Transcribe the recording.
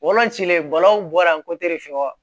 cilen bɔra fɛ